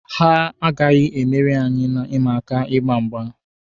Ha agaghi emeri anyị na ịma aka ịgba mgba.